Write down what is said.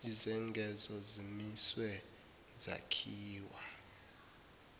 izengezo zimiswe zakhiwe